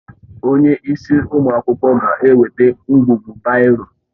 Onye isi ụmụ akwụkwọ ga-eweta ngwugwu baịro